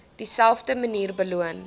dieselfde manier beloon